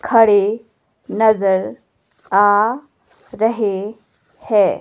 खड़े नजर आ रहे है।